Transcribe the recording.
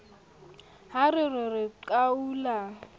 ha re re re qhwaolla